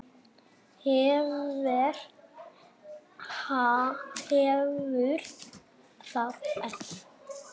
Hver hefur það ekki?